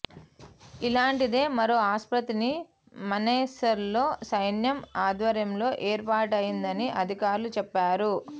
ఇలాంటిదే మరో ఆస్పత్రిని మనేసర్లో సైన్యం ఆధ్వర్యంలో ఏర్పాటయిందని అధికారులు చెప్పారు